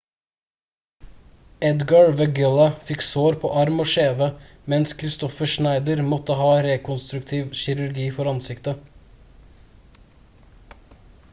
edgar veguilla fikk sår på arm og kjeve mens kristoffer schneider måtte ha rekonstruktiv kirurgi for ansiktet